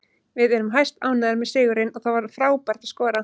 Við erum hæstánægðir með sigurinn og það var frábært að skora.